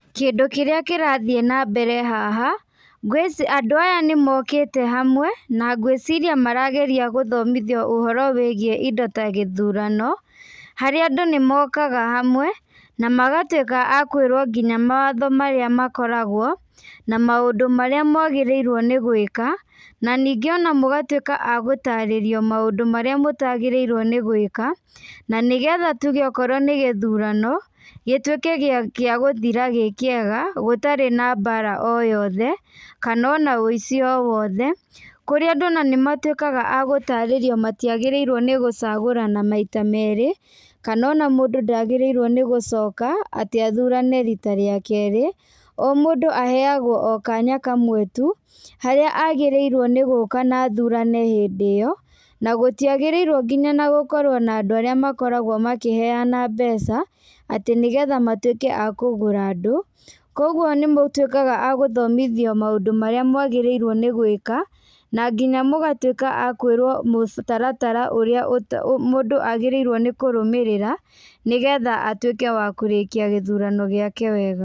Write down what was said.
Kĩndũ kĩrĩa kĩrathiĩ na mbele haha, andũ aya nĩmokĩte hamwe, na ngwĩciria marageria gũthomithĩo ũhoro wĩgiĩ ĩndo ta gĩthũrano, harĩa andũ nĩmokaga hamwe, na magatwika a kwĩrwo ngĩnya mawatho marĩa makoragwo, na maũndũ marĩa magĩrĩrirwo nĩ gwĩka, na ningĩ ona mũgatwĩka a gũtarĩrio maũndũ marĩamũtagĩrĩirwo nĩ gwĩka, na nĩgetha tũge o okwo nĩ gũthũrano gĩtũĩke gĩa gũthĩra gĩkĩega gũtarĩ na mbara o yothe, kana ona ũici o wothe, kũrĩa andũ ona nĩmatũĩkaga a gũtarĩrio matĩagĩrĩirwo nĩ gũthũrana maita merĩ, kana ona mũndũ ndagĩrĩirwo nĩgũcoka atĩ athũrane rĩta rĩa kerĩ, o mũndũ a heagwo kanya kamwe tũ, harĩa agĩrĩirwo nĩ gũka na athũrane hĩndĩ ĩyo na gũtĩa gĩrĩirwo nginya gũkorwo na andũ arĩa makoragwo makĩheana mbeca, atĩ nĩgetha matũĩke a kũgũra andũ , kogũo nĩ mũtũĩkaga agũthomithio maũndũ marĩa mwagĩrĩirwo nĩ gwĩka, na ngĩnya mũgatwĩka a kwĩrwo mũtaratara ũrĩa mũndũ agrĩrĩirwo nĩ kũrũmĩrĩra, nĩgetha atwĩke wa kũrĩkia gũthũrano gĩake wega.